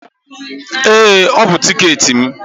Ee, ọ bụ tiketi m.